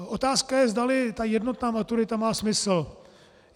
Otázka je, zdali ta jednotná maturita má smysl.